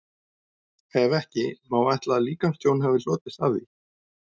Ef ekki, má ætla að líkamstjón hafi hlotist af því?